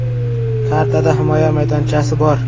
Kartada himoya maydonchasi bor.